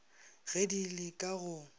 ge di le ka go